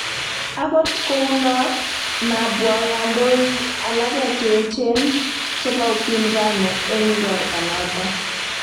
Angot kou no, mabwo kandoik alage che eejen, chebo upinzani eng' igorto noto